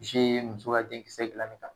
muso ka denkisɛ dilan nin kan